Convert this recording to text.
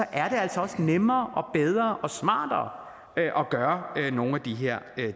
er det altså også nemmere og bedre og smartere at gøre nogle af de her